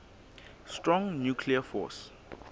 strong nuclear force